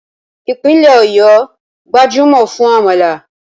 Ìpínlẹ̀ Ọ̀yọ́ gbajúmọ̀ fún àmàlà